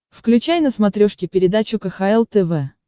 включай на смотрешке передачу кхл тв